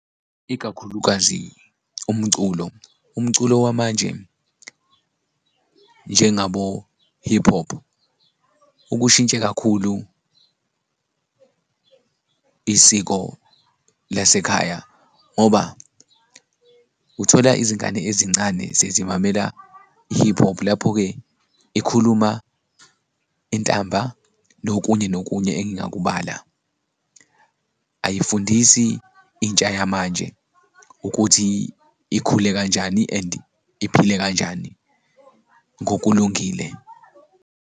Ikakhulukazi umculo, umculo wamanje njengabo-hip hop, ukushintshe kakhulu isiko lasekhaya ngoba uthola izingane ezincane sezimamela i-hip hop, lapho-ke ikhuluma intamba nokunye nokunye engingakubala, ayifundisi intsha yamanje ukuthi ikhule kanjani and iphile kanjani ngokulungile.